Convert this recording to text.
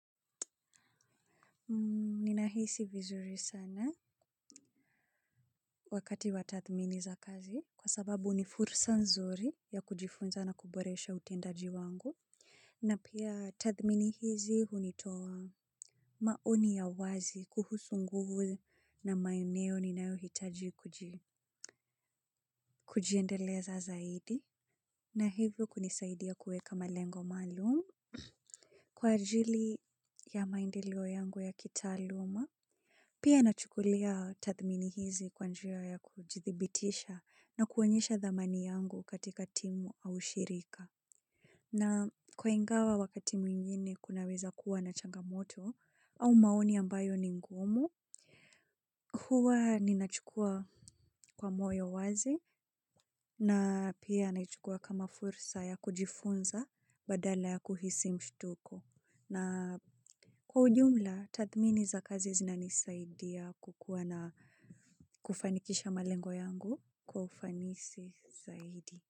Ninahisi vizuri sana wakati wa tathmini za kazi kwa sababu nifursa nzuri ya kujifunza na kuboresha utendaji wangu. Na pia tathmini hizi hunitoa. Maoni ya wazi kuhusu nguvu na maeneo ninayohitaji kujiendeleza zaidi. Na hivyo kunisaidia kuweka malengo maalum. Kwa ajili ya maendeleo yangu ya kitaaluma. Pia na chukulia tathmini hizi kwa njia ya kujithibitisha na kuonyesha dhamani yangu katika timu au shirika. Na kwa ingawa wakati mwingine kunaweza kuwa na changamoto au maoni ambayo ni ngumu. Huwa ni nachukua kwa moyo wazi na pia naichukua kama fursa ya kujifunza badala ya kuhisi mshtuko. Na kwa ujumla, tathmini za kazi zinanisaidia kukuwa na kufanikisha malengo yangu kwa ufanisi zaidi.